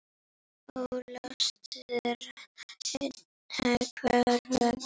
Óljóst er enn hvers vegna.